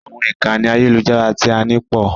Àwọn ìkànnì àyẹ́lujára tí a ní pọ̀.